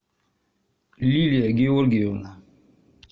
лилия георгиевна